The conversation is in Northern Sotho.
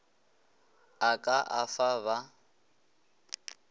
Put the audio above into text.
o ka a fa ba